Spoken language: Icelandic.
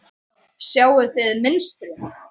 Sjáið þið mynstrið?